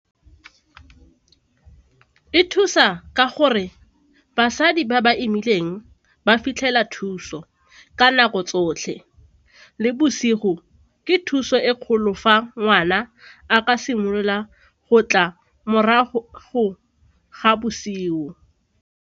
E thusa ka gore basadi ba ba imileng ba fitlhela thuso ka nako tsotlhe le bosigo ke thuso e kgolo fa ngwana a ka simolola go tla morago ga bosigo.